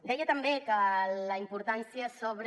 deia també que la importància sobre